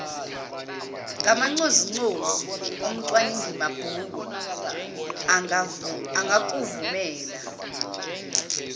ngamancozuncozu umcwaningimabhuku angakuvumela